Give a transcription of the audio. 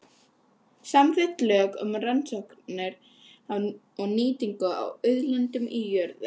Samþykkt lög um rannsóknir og nýtingu á auðlindum í jörðu.